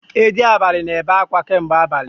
Edi abalị na-ebe akwa kamgbe abali